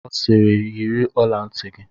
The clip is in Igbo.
Ọ siiri, yiri ọla ntị!